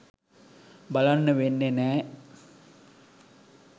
බලන්න වෙන්නෙ නෑ